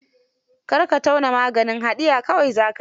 Kar ka tauna maganin, haɗiya kawai za ka yi.